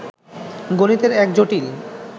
গণিতের এক জটিল